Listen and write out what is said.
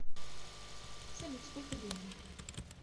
салют сколько времени